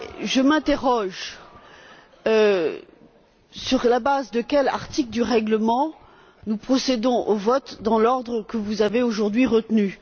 Je m'interroge sur la base de quel article du règlement procédons nous au vote dans l'ordre que vous avez aujourd'hui retenu?